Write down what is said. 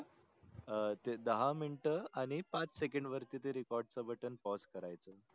अं ते दहा मिनीट आणि पाच सेकंड वरती ते RECORD च button PAUSE करायच